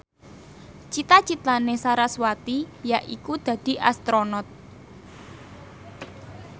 cita citane sarasvati yaiku dadi Astronot